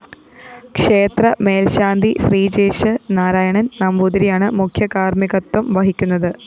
ക്ഷേത്ര മേല്‍ശാന്തി ശ്രീജേഷ് നാരായണന്‍ നമ്പൂതിരിയാണ് മുഖ്യകാര്‍മികത്വം വഹിക്കുന്നത്